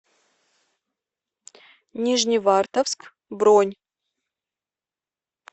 нижневартовск бронь